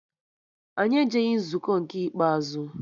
Anyị ejeghị nzukọ nke ikpeazụ